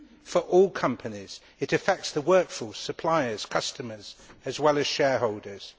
For all companies, it affects the workforce, suppliers and customers, as well as shareholders.